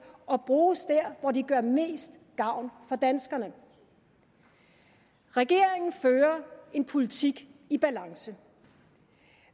og bruges der hvor de gør mest gavn for danskerne regeringen fører en politik i balance